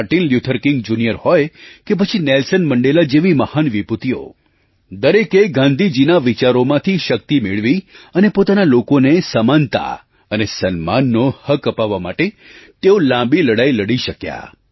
Martin Luther King Junior હોય કે પછી નેલ્સન મંડેલા જેવી મહાન વિભૂતિઓ દરેકે ગાંધીજીના વિચારોમાંથી શક્તિ મેળવી અને પોતાના લોકોને સમાનતા અને સન્માનનો હક અપાવવા માટે તેઓ લાંબી લડાઈ લડી શક્યા